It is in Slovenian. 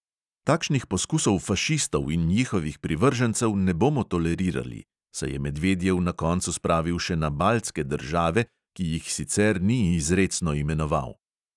"Takšnih poskusov fašistov in njihovih privržencev ne bomo tolerirali," se je medvedjev na koncu spravil še na baltske države, ki jih sicer ni izrecno imenoval.